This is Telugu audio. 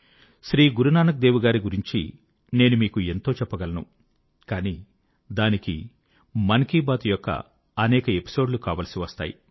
శ్రీ గురునానక్ దేవ్ గారి గురించి నేను మీకు ఎంతో చెప్పగలను కానీ దానికి మన్ కీ బాత్ యొక్క అనేక ఎపిసోడ్ లు కావలసి వస్తాయి